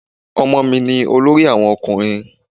Ọmọ mi ni olórí àwọn ọkùnrin.